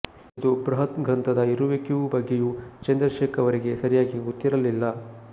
ಈ ಬೃಹತ್ಗ್ರಂಥದ ಇರುವಿಕೆಯ ಬಗ್ಗೆಯೂ ಚಂದ್ರಶೇಖರ್ ಅವರಿಗೆ ಸರಿಯಾಗಿ ಗೊತ್ತಿರಲಿಲ್ಲ